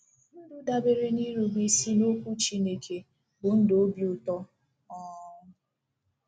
Ndụ dabeere n’irube isi n’Okwu Chineke bụ ndụ obi ụtọ um